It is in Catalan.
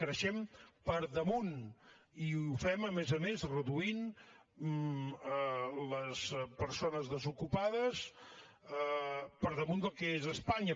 creixem per damunt i ho fem a més a més reduint les persones desocupades per damunt del que és a espanya